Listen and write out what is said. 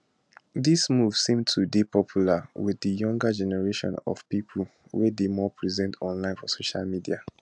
dis move seem to dey popular wit di younger generation of pipo wey dey more present online for social media